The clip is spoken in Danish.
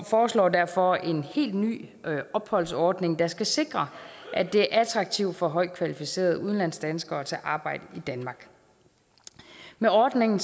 foreslår derfor en helt ny opholdsordning der skal sikre at det er attraktivt for højtkvalificerede udlandsdanskere at tage arbejde i danmark med ordningen